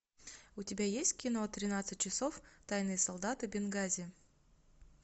у тебя есть кино тринадцать часов тайные солдаты бенгази